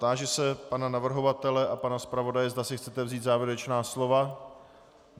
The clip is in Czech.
Táži se pana navrhovatele a pana zpravodaje, zda si chcete vzít závěrečná slova.